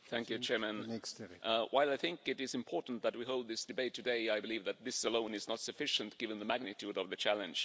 Mr President, while I think it is important that we hold this debate today, I believe that this alone is not sufficient given the magnitude of the challenge.